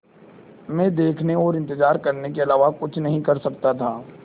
मैं देखने और इन्तज़ार करने के अलावा कुछ नहीं कर सकता था